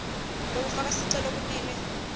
lekufaka sicelo kumele